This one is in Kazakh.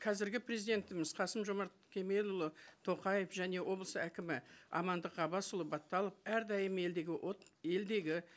қазіргі президентіміз қасым жомарт кемелұлы тоқаев және облыс әкімі амандық ғаббасұлы баталов әрдайым елдегі елдегі